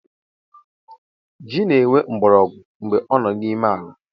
Ji na-enwe mgborogwu mgbe ọ n’ime ala